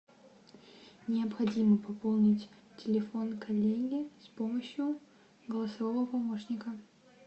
необходимо пополнить телефон коллеги с помощью голосового помощника